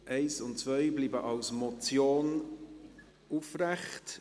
Die Punkte 1 und 2 bleiben als Motion aufrechterhalten.